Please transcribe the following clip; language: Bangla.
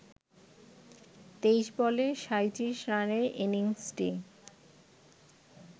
২৩ বলে ৩৭ রানের ইনিংসটি